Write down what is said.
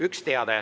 Üks teade.